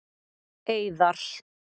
Eiðar